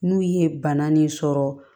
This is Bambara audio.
N'u ye bana nin sɔrɔ